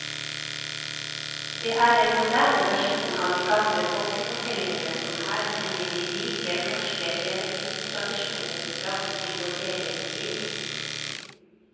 Det er en moderne versjon av de gamle folkefortellingene som her bringer de rike norske eventyrtradisjoner fram til vår egen tid.